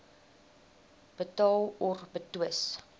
betaal or betwis